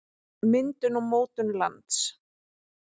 myndun og mótun lands